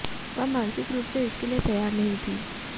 वह मानसिक रूप से इसके लिए तैयार नहीं थीं